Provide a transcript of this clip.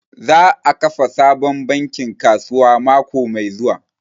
Za a kafa sabon bankin kasuwa mako mai zuwa